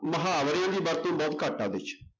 ਮੁਹਾਵਰਿਆਂ ਦੀ ਵਰਤੋਂ ਬਹੁਤ ਘੱਟ ਆ ਉਹਦੇ ਚ।